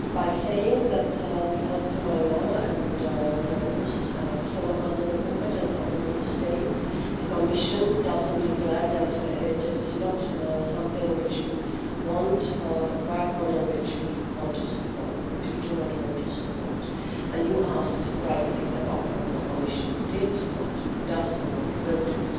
In saying that the electoral law and the rules fall under the competence of the Member States, the Commission is not declaring that this is not something which we want to work on and which we do not want to support. You asked, rightly, about what the Commission did, what it does and what it will do.